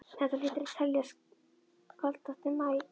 Þetta hlýtur að teljast kaldasti maí